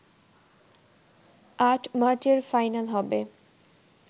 ৮ মার্চের ফাইনাল হবে